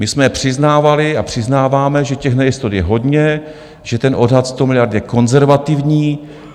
My jsme přiznávali a přiznáváme, že těch nejistot je hodně, že ten odhad 100 miliard je konzervativní.